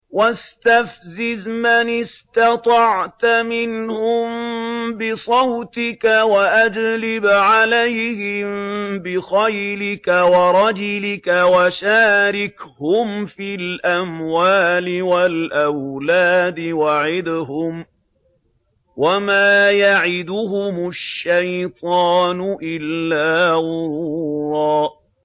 وَاسْتَفْزِزْ مَنِ اسْتَطَعْتَ مِنْهُم بِصَوْتِكَ وَأَجْلِبْ عَلَيْهِم بِخَيْلِكَ وَرَجِلِكَ وَشَارِكْهُمْ فِي الْأَمْوَالِ وَالْأَوْلَادِ وَعِدْهُمْ ۚ وَمَا يَعِدُهُمُ الشَّيْطَانُ إِلَّا غُرُورًا